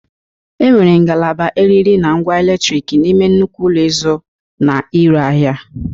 E nwere ngalaba eriri na ngwa eletrik n'ime nnukwu ụlọ ịzụ na ire ahịa.